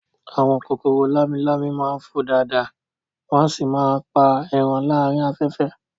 Àwọn kòkòrò lámi-lámi máa ń fò dáadáa wọ́n sì máa ń pa ẹran láàárín afẹ́fẹ́